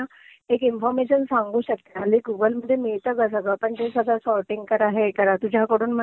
हे म्हणजे मी त्याला एक इन्फॉर्मेशन सांगू शकते. लाइक येता जाता सॉर्टींग करा, हे करा.